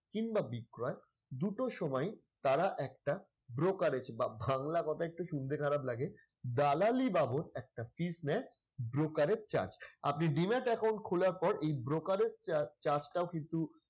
কিংবা বিক্রয় দুটোর সময় তারা একটা brokerage বা বাংলা কথায় একটু শুনতে খারাপ লাগে দালালি বাবদ একটা fees নেয় broker এর charge আপনি demat account খোলার পর এই broker এর charge টাও কিন্তু,